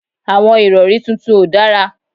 Àwọn ìrọ̀rí tuntun ò dára